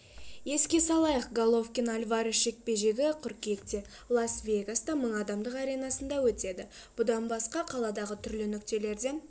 еске салайық головкин альварес жекпе-жегі қыркүйекте лас-вегаста мың адамдық аренасында өтеді бұдан басқа қаладағы түрлі нүктелерден